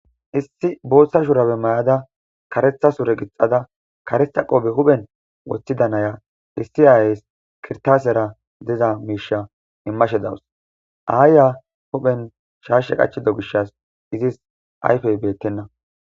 Issi bootha shuraabiya mayada karetha sure gixada karetha qophe huuphiyan wothida na7iya issi aayees kirtaasiyaara diza miisha immashe dawus. Aayiya huuphiyan shaashe qachida gishas iigi aysfey beettenna.